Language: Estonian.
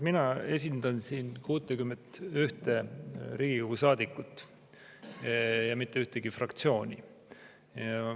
Mina esindan siin 61 Riigikogu saadikut ja mitte ühtegi fraktsiooni.